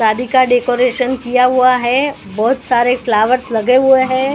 शादी का डेकोरेशन किया हुआ है बहुत सारे फ्लावर्स लगे हुए हैं।